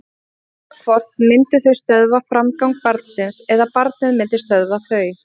Annað hvort myndu þau stöðva framgang barnsins eða barnið myndi stöðva þau.